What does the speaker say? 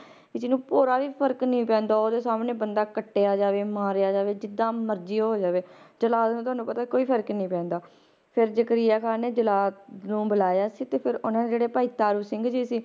ਵੀ ਜਿਹਨੂੰ ਭੋਰਾ ਵੀ ਫ਼ਰਕ ਨੀ ਪੈਂਦਾ ਉਹਦੇ ਸਾਹਮਣੇ ਬੰਦਾ ਕੱਟਿਆ ਜਾਵੇ ਮਾਰਿਆ ਜਾਵੇ ਜਿੱਦਾਂ ਮਰਜ਼ੀ ਉਹ ਹੋ ਜਾਵੇ ਜਲਾਦ ਨੂੰ ਤੁਹਾਨੂੰ ਪਤਾ ਕੋਈ ਫ਼ਰਕ ਨੀ ਪੈਂਦਾ ਫਿਰ ਜ਼ਕਰੀਆ ਖ਼ਾਨ ਨੇ ਜਲਾਦ ਨੂੰ ਬੁਲਾਇਆ ਸੀ ਤੇ ਫਿਰ ਉਹਨਾਂ ਨੇ ਜਿਹੜੇ ਭਾਈ ਤਾਰੂ ਸਿੰਘ ਜੀ ਸੀ,